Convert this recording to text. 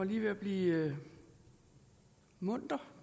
lige ved at blive munter